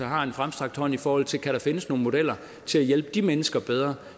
har en fremstrakt hånd i forhold til kan der findes nogle modeller til at hjælpe de mennesker bedre